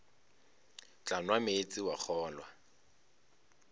tla nwa meetse wa kgolwa